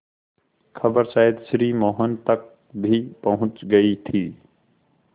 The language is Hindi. खबर शायद श्री मोहन तक भी पहुँच गई थी